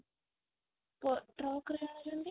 track ରେ ଆଣୁଛନ୍ତି